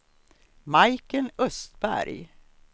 Majken Östberg